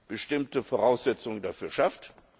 Ukraine bestimmte Voraussetzungen dafür schafft.